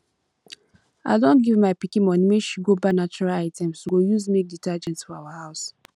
i don give my pikin money make she go buy natural items we go use make detergent for our house